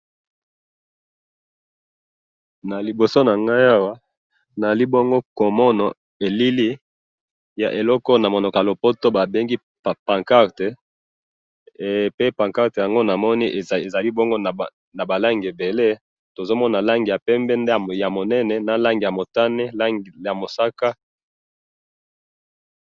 Naliboso nangayi awa, naali bongo komona elili ya eloko oyo namunoko yalopoto babengaka pancarte, eh! Pe pancarte yango namoni ezali bongo nabalangi ebele, tozomona langi ya pembe ndambo yamunene, na langi yamutane, langi musaka.